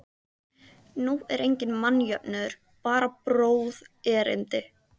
Nú er enginn mannjöfnuður, bara bróðerni.